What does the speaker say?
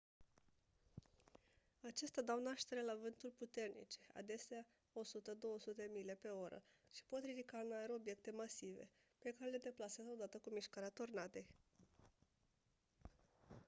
acestea dau naștere la vânturi puternice adesea 100-200 mile/oră și pot ridica în aer obiecte masive pe care le deplasează odată cu mișcarea tornadei